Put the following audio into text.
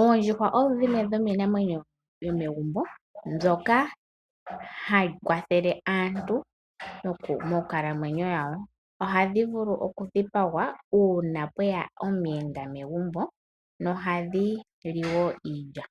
Oondjuhwa odho iinamwenyo yomegumbo mbyoka hayi kwathele aantu monkalamwenyo yawo. Ohayi vulu okudhipagwa uuna pweya omuyenda megumbo nohadhi li wo iilya.